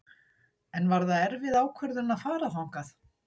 En var það erfið ákvörðun að fara þangað?